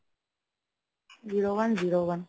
zero one zero one